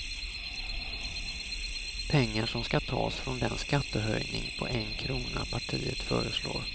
Pengar som ska tas från den skattehöjning på en krona partiet föreslår.